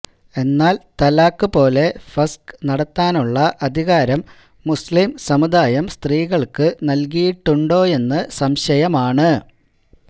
എന്നാൽ തലാഖ് പോലെ ഫസ്ഖ് നടത്താനുള്ള അധികാരം മുസ്ലിം സമുദായം സത്രീകൾക്കു നൽകിയിട്ടുണ്ടോയെന്നു സംശയമാണ്